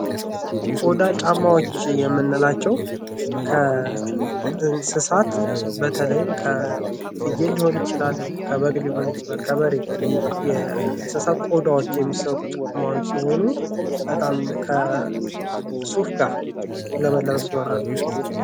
ቆዳ ጫማዎች የምንላቸው ከእንስሳት በተለይም ከፍየል ሊሆን ይችላል፣ ከበግ ሊሆን ይችላል፣ ከበሬ የእንስሳት ቆዳዎች የሚሰሩ ጫማዎች ሲሆኑ በጣም ከሱፍ ጋር ለመልበስ ይሆናሉ።